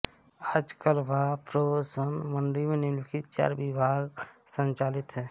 आजकल भा प्रौ सं मण्डी में निम्नलिखित चार विभाग संचालित हैं